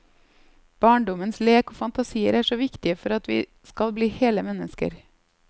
Barndommens lek og fantasier er så viktige for at vi skal bli hele mennesker.